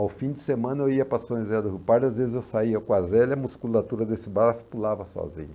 Ao fim de semana eu ia para São José da Pardo, às vezes eu saía com a Zélia e a musculatura desse braço e pulava sozinho.